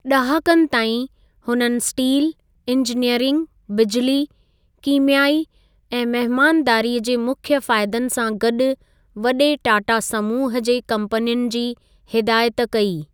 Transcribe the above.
ड॒हाकनि ताईं, हुननि steel, engineering, बिजली, कीमयाई ऐं महिमानदारी जे मुख्य फ़ायदनि सां गॾु वडे॒ टाटा समूह जे कंपनियुनि जी हिदायति कई।